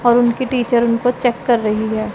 और उनकी टीचर उनको चेक कर रही है।